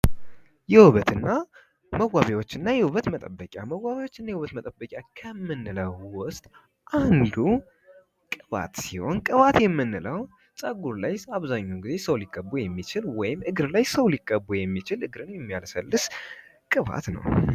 መዋቢያዎችና የውበት መጠበቂዎች የውበት መጠበቂያ ከምንላቸው ውስጥ ቅባት ሲሆን ቅባት የምንለው አብዛኛው ጊዜ ሰው ሊቀባው የሚችል ወይም ሊቀ የሚችል እግር ላይ የሚየለሰልስ ቅባት ነው።